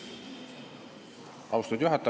Austatud juhataja!